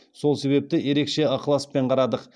сол себепті ерекше ықыласпен қарадық